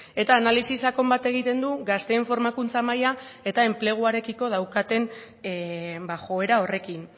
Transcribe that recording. eta analisi sakon bat egiten du gazteen formakuntza maila eta enpleguarekiko daukaten joera horrekin